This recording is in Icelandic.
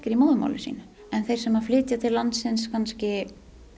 í móðurmáli sínu en þeir sem flytjast til landsins kannski